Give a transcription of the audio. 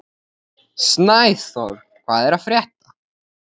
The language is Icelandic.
Snæþór, hvað er að frétta?